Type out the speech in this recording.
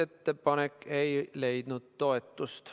Ettepanek ei leidnud toetust.